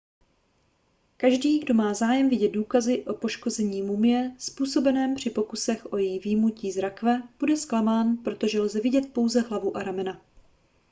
každý kdo má zájem vidět důkazy o poškození mumie způsobeném při pokusech o její vyjmutí z rakve bude zklamán protože lze vidět pouze hlavu a ramena